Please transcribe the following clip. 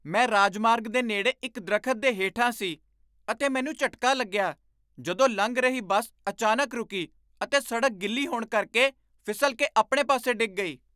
ਮੈਂ ਰਾਜਮਾਰਗ ਦੇ ਨੇੜੇ ਇੱਕ ਦਰੱਖਤ ਦੇ ਹੇਠਾਂ ਸੀ ਅਤੇ ਮੈਨੂੰ ਝਟਕਾ ਲੱਗਿਆ ਜਦੋਂ ਲੰਘ ਰਹੀ ਬੱਸ ਅਚਾਨਕ ਰੁਕੀ ਅਤੇ ਸੜਕ ਗਿੱਲੀ ਹੋਣ ਕਰਕੇ ਫਿਸਲ ਕੇ ਆਪਣੇ ਪਾਸੇ ਡਿੱਗ ਗਈ।